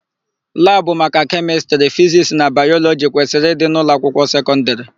Labụ maka Kemịstrị, Fiziks na Bayọlọgi kwesịrị ịdị n'ụlọakwụkwọ sekọndịrị.